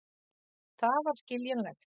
Það var skiljanlegt.